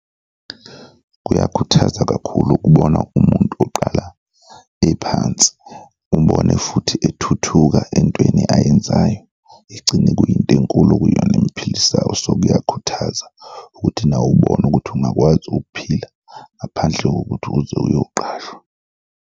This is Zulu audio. Kuyakhuthaza kakhulu ukubona umuntu oqala ephansi umbone futhi ethuthuka entweni ayenzayo egcine kuyinto enkulu okuyiyona emiphilisayo so kuyakhuthaza ukuthi nawe ubone ukuthi ungakwazi ukuphila ngaphandle kokuthi uze ukuyoqashwa.